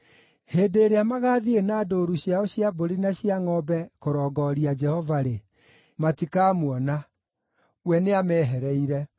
Hĩndĩ ĩrĩa magaathiĩ na ndũũru ciao cia mbũri na cia ngʼombe kũrongooria Jehova-rĩ, matikamuona; we nĩamehereire.